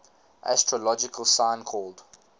astrological sign called